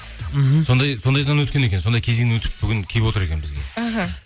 мхм сондайдан өткен екен сондай кезеңнен өтіп бүгін келіп отыр екен бізге іхі